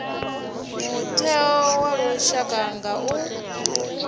mutheo wa lushaka u nga